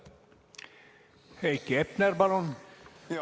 Heiki Hepner, palun!